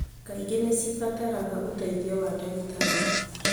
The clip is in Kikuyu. Kaingĩ nĩ cibataraga ũteithio wa ndagĩtarĩ.